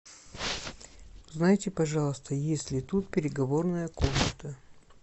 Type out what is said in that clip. узнайте пожалуйста есть ли тут переговорная комната